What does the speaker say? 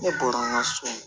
Ne bɔra n ka so